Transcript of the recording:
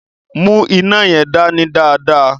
Mu ina yẹn dani dáadáa.